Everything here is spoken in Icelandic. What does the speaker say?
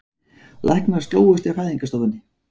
Læknar slógust í fæðingarstofunni